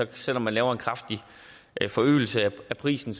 der selv om man laver en kraftig forøgelse af prisen